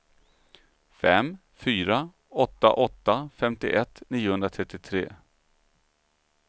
fem fyra åtta åtta femtioett niohundratrettiotre